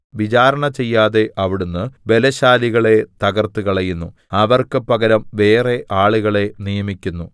വിചാരണ ചെയ്യാതെ അവിടുന്ന് ബലശാലികളെ തകർത്തുകളയുന്നു അവർക്ക് പകരം വേറെ ആളുകളെ നിയമിക്കുന്നു